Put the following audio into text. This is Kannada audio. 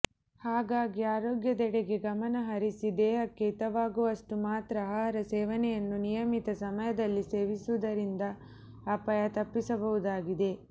ಹಾಗಾಗಿ ಆರೋಗ್ಯದೆಡೆಗೆ ಗಮನ ಹರಿಸಿ ದೇಹಕ್ಕೆ ಹಿತವಾಗುವಷ್ಟು ಮಾತ್ರ ಆಹಾರ ಸೇವನೆಯನ್ನು ನಿಯಮಿತ ಸಮಯದಲ್ಲಿ ಸೇವಿಸುವುದರಿಂದ ಆಪಾಯ ತಪ್ಪಿಸಬಹುದಾಗಿದೆ